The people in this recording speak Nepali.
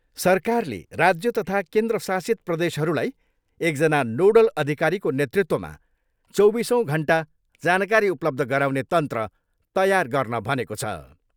सरकारले राज्य तथा केन्द्रशासित प्रदेशहरूलाई एकजना नोडल अधिकारीको नेतृत्वमा चौबिसौँ घन्टा जानकारी उपलब्ध गराउने तन्त्र तयार गर्न भनेको छ।